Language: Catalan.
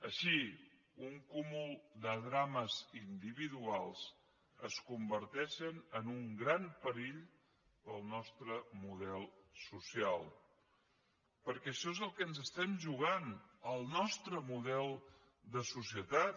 així un cúmul de drames individuals es converteixen en un gran perill per al nostre model social perquè això és el que ens estem jugant el nostre model de societat